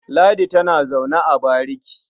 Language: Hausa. Ladi tana zaune a bariki.